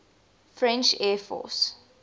french air force